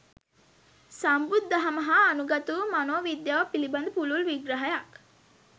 සම්බුදු දහම හා අනුගතවූ මනෝවිද්‍යාව පිළිබඳ පුළුල් විග්‍රහයක්